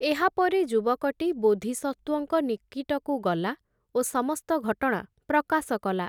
ଏହାପରେ ଯୁବକଟି, ବୋଧିସତ୍ତ୍ଵଙ୍କ ନିକଟକୁ ଗଲା, ଓ ସମସ୍ତ ଘଟଣା ପ୍ରକାଶ କଲା ।